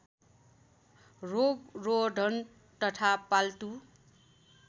रोगरोधन तथा पाल्तु